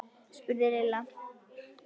spurði Lilla.